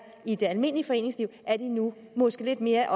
i det almindelige foreningsliv er de nu måske lidt mere